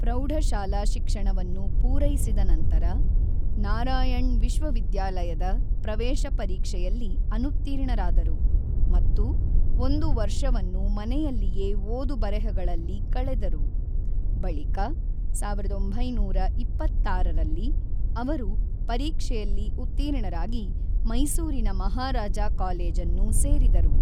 ಪ್ರೌಢಶಾಲಾ ಶಿಕ್ಷಣವನ್ನು ಪೂರೈಸಿದ ನಂತರ, ನಾರಾಯಣ್ ವಿಶ್ವವಿದ್ಯಾಲಯದ ಪ್ರವೇಶ ಪರೀಕ್ಷೆಯಲ್ಲಿ ಅನುತ್ತೀರ್ಣರಾದರು ಮತ್ತು ಒಂದು ವರ್ಷವನ್ನು ಮನೆಯಲ್ಲಿಯೇ ಓದು-ಬರೆಹಗಳಲ್ಲಿ ಕಳೆದರು; ಬಳಿಕ ಸಾವಿರದ ಒಂಬೈನೂರ ಇಪ್ಪತ್ತಾರರಲ್ಲಿ ಅವರು ಪರೀಕ್ಷೆಯಲ್ಲಿ ಉತ್ತೀರ್ಣರಾಗಿ ಮೈಸೂರಿನ ಮಹಾರಾಜಾ ಕಾಲೇಜನ್ನು ಸೇರಿದರು.